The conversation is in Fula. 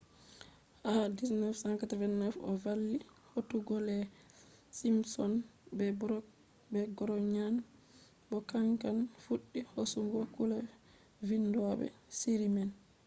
ha 1989 o valli hautugo the simpsons be brooks be groaning bo kanko fuddi hosugo kungiya vindobe shiri man